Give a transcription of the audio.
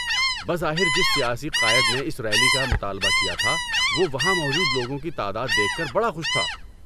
بظاہر جس سیاسی قائد نے اس ریلی کا مطالبہ کیا تھا وہ وہاں موجود لوگوں کی تعداد دیکھ کر بڑا خوش تھا۔